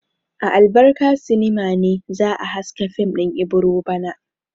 A Albarka sinima ne za a haska fim din Ibiro bana.